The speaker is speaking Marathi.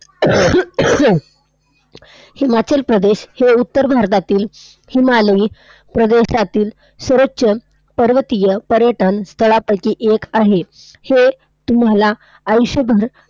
हिमाचल प्रदेश हे उत्तर भारतातील हिमालयी प्रदेशातील सर्वोच्च पर्वतीय पर्यटन स्थळांपैकी एक आहे. हे तुम्हाला आयुष्यभर